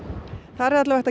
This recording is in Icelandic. þar er alla vega